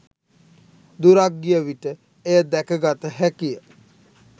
දුරක් ගිය විට එය දැකගත හැකිය.